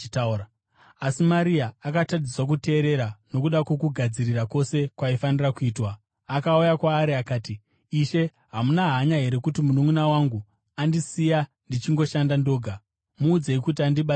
Asi Marita akatadziswa kuteerera nokuda kwokugadzirira kwose kwaifanira kuitwa. Akauya kwaari akati, “Ishe hamuna hanya here kuti mununʼuna wangu andisiya ndichingoshanda ndoga? Muudzei kuti andibatsirewo!”